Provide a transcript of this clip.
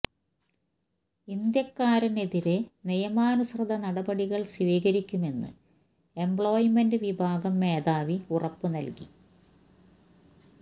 ഇന്ത്യക്കാരനെതിരെ നിയമാനുസൃത നടപടികൾ സ്വീകരിക്കുമെന്ന് എംപ്ലോയ്മെന്റ് വിഭാഗം മേധാവി ഉറപ്പു നൽകി